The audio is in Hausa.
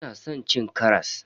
Ina san cin karas.